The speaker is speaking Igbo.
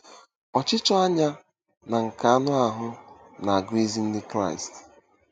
Ọchịchọ anya na nke anụ ahụ́ na-agụ ezi Ndị Kraịst.